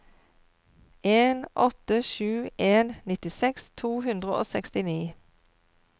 en åtte sju en nittiseks to hundre og sekstini